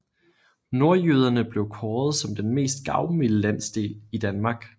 Nordjyderne blev kåret som den mest gavmilde landsdel i Danmark